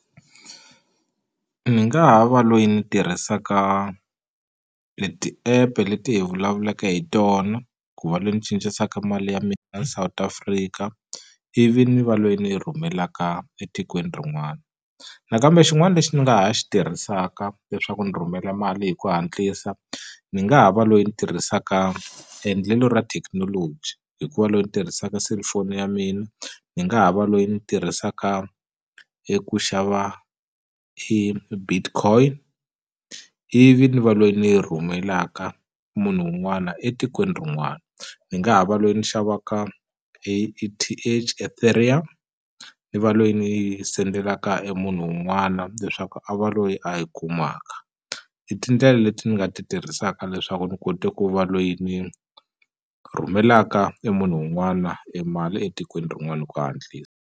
Ni nga ha va loyi ni tirhisaka leti ti-app-e leti hi vulavulaka hi tona ku va loyi ni cincisaka mali ya mina ya South Africa ivi ni va loyi ni yi rhumelaka etikweni rin'wana nakambe xin'wana lexi ni nga ha xi tirhisaka leswaku ni rhumela mali hi ku hatlisa ni nga ha va loyi ni tirhisaka endlelo ra thekinoloji hikuva loyi ni tirhisaka cellphone ya mina ni nga ha va loyi ni tirhisaka eku xava i Bitcoin ivi ni va loyi ni yi rhumelaka munhu wun'wana etikweni rin'wana ni nga ha va loyi ni xavaka A_E_T_H Ethereum ni va loyi ni send-elaka e munhu wun'wana leswaku a va loyi a yi kumaka i tindlela leti ni nga ti tirhisaka leswaku ni kote ku va loyi ni rhumelaka e munhu wun'wana e mali etikweni rin'wana hi ku hatlisa.